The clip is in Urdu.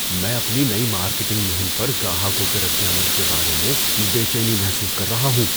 میں اپنی نئی مارکیٹنگ مہم پر گاہکوں کے رد عمل کے بارے میں بے چینی محسوس کر رہا ہوں۔